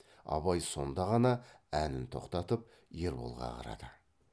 абай сонда ғана әнін тоқтатып ерболға қарады